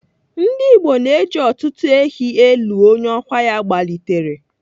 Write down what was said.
Ndigbo na-eji ọtụtụ ehi elu onye ọkwa ya gbalitere.